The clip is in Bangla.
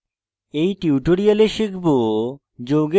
in tutorial শিখব